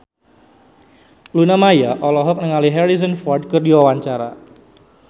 Luna Maya olohok ningali Harrison Ford keur diwawancara